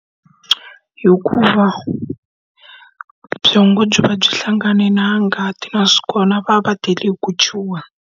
Hikuva byongo byi va byi hlangane na ngati nakona va va va tele hi ku chuha.